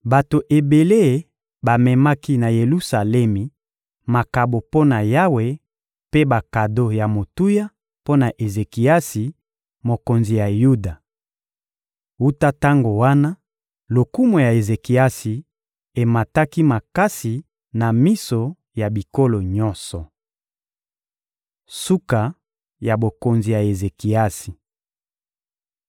Bato ebele bamemaki na Yelusalemi makabo mpo na Yawe mpe bakado ya motuya mpo na Ezekiasi, mokonzi ya Yuda. Wuta tango wana, lokumu ya Ezekiasi emataki makasi na miso ya bikolo nyonso. Suka ya bokonzi ya Ezekiasi (2Ba 20.1-21)